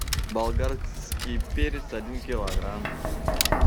болгарский перец один килограмм